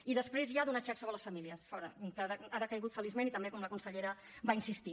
i després ja donar xecs sobre les famílies fora que ha decaigut feliçment i també com la consellera va insistir